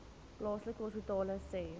plaaslike hospitale sê